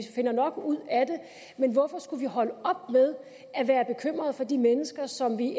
finder nok ud af det men hvorfor skulle vi holde op med at være bekymrede for de mennesker som vi